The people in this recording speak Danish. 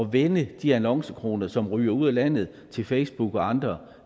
vende de annoncekroner som ryger ud af landet til facebook og andre